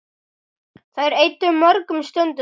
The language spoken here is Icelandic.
Þær eyddu mörgum stundum saman.